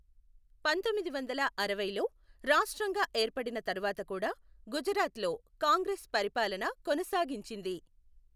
పంతొమ్మిది వందల అరవైలో రాష్ట్రంగా ఏర్పడిన తరువాత కూడా గుజరాత్లో కాంగ్రెస్ పరిపాలన కొనసాగించింది.